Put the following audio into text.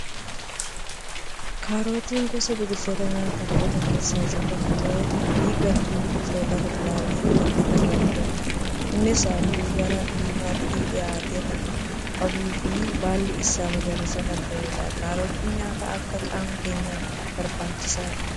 Kaarotiin gosa biqiloota nyaataaf oolan keessaa isa tokko fi gartuu biqiltoota kuduraalee jalatti kan ramadamudha. Innis halluu gara diimaatti dhihaatu kan qabuu fi baalli isaas magariisa kan ta'edha. Kaarotiin nyaata akkaan qaama keenyaaf barbaachisaadha.